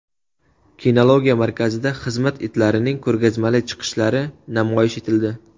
Kinologiya markazida xizmat itlarining ko‘rgazmali chiqishlari namoyish etildi.